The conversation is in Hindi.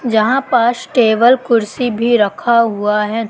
जहां पर टेबल कुर्सी भी रखा हुआ है।